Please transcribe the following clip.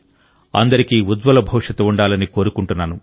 అందరికీ ఉజ్వల భవిష్యత్తు ఉండాలని కోరుకుంటున్నాను